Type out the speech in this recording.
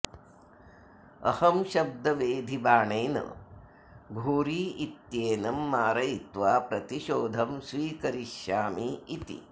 अहं शब्दवेधिबाणेन घोरी इत्येनं मारयित्वा प्रतिशोधं स्वीकरिष्यामि इति